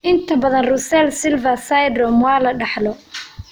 Inta badan, Russell Silver syndrome waa la dhaxlo.